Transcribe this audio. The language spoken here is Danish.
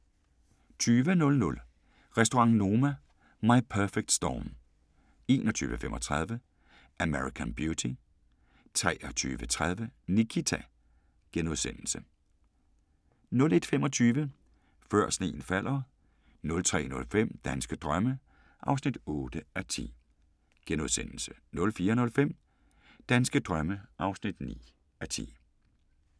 20:00: Restaurant Noma – My Perfect Storm 21:35: American Beauty 23:30: Nikita * 01:25: Før sneen falder 03:05: Danske drømme (8:10)* 04:05: Danske drømme (9:10)